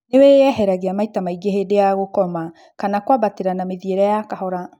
Nĩwĩyeheragia maita maingĩ hĩndĩ ya gũkoma kana kwambatĩria na mĩthiĩre ya kahora